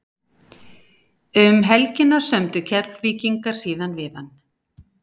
Um helgina sömdu Keflvíkingar síðan við hann.